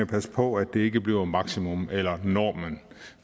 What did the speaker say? passe på at det ikke bliver maksimum eller normen